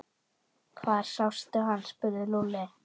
Hvar sástu hann? spurði Lúlli.